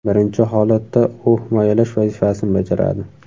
Birinchi holatda u himoyalash vazifasini bajaradi.